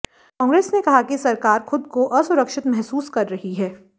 कांग्रेस ने कहा कि सरकार खुद को असुरक्षित महसूस कर रही है